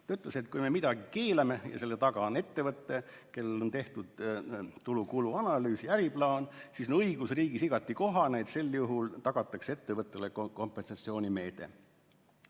Ta ütles, et kui me midagi keelame, aga selle taga on ettevõte, kellel on tehtud tulude ja kulude analüüs ja äriplaan, siis on õigusriigis igati kohane, et sel juhul tagatakse ettevõtjale kompensatsioonimeede.